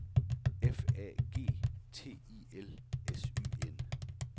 F A G T I L S Y N